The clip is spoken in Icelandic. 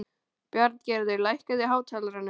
Bjarngerður, lækkaðu í hátalaranum.